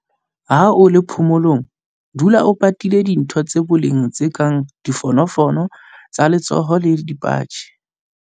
Ha o le phomolong, dula o patile dintho tsa boleng tse kang difonofono tsa letsoho le dipatjhe.